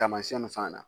Taamasiyɛn nin fana na